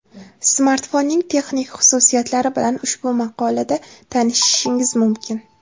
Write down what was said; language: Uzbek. Smartfonning texnik xususiyatlari bilan ushbu maqola da tanishishingiz mumkin.